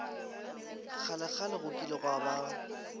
kgalekgale go kile gwa ba